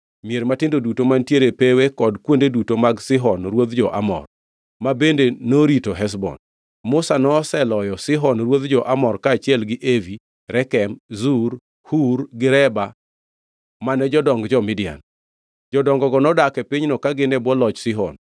mier matindo duto mantiere e pewe kod kuonde duto mag Sihon ruodh jo-Amor, ma bende norito Heshbon. Musa noseloyo Sihon ruodh jo-Amor kaachiel gi Evi, Rekem, Zur, Hur gi Reba mane jodong jo-Midian. Jodongogo nodak e pinyno ka gin e bwo loch Sihon.